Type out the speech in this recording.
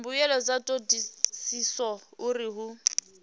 mbuelo dza thodisiso uri hu